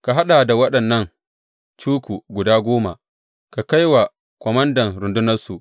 Ka haɗa da waɗannan cuku guda goma, ka kai wa komandan rundunarsu.